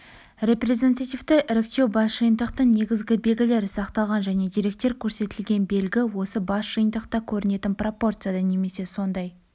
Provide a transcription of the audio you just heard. репрезентативті іріктеу бас жиынтықтың негізгі белгілері сақталған және деректер көрсетілген белгі осы бас жиынтықта көрінетін пропорцияда немесе сондай